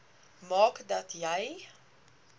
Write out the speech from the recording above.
maak dat jy